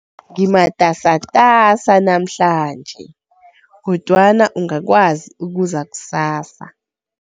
Ngimatasatasa namhlanje, kodwana ungakwazi ukuza kusasa?